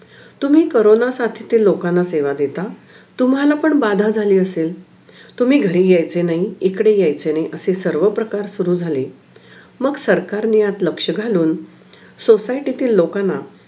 तुम्ही कोरोनासाठी त्या लोकांना सेवा देता तुम्हाला पण बाधा झाली असेल तुम्ही घरे यायची नाही इकडे यायची नाही असा सर्व प्रकार सुरु झाले मग सरकारने यात लक्ष्य घालून सोसाटीतील लोकांना